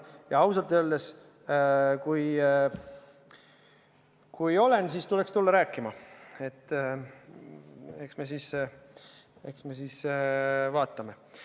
Ja ausalt öeldes, kui olen, siis tuleks tulla minuga rääkima, eks me siis vaatame.